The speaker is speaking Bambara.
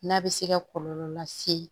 N'a bɛ se ka kɔlɔlɔ lase